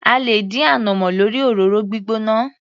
A lè dín ànàmọ́ lórí òróró gbígbóná.